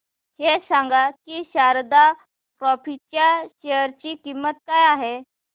हे सांगा की शारदा क्रॉप च्या शेअर ची किंमत किती आहे